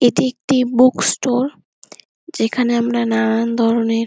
এটি একটি book store যেখানে আমরা নানান ধরণের --